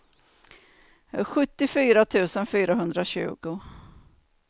sjuttiofyra tusen fyrahundratjugo